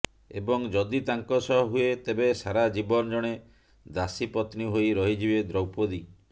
ଏବଂ ଯଦି ତାଙ୍କ ସହ ହୁଏ ତେବେ ସାରା ଜୀବନ ଜଣେ ଦାସୀପତ୍ନୀ ହୋଇ ରହିଯିବେ ଦ୍ରୌପଦୀ